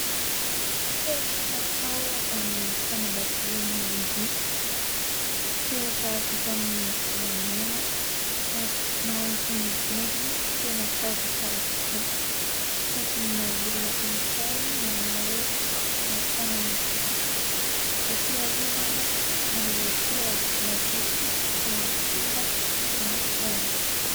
Peratra natao ho an'ny fanambadian'ny olon-droa. Peratra vita amin'ny volamena ary mahazo ny endriny tena tsara dia tsara tokoa. Tazomina olona anankiray manao aro tanana fotsifotsy ho fiarovana an'ilay peratra mba tsy ho kiaka na ho simba na haloto.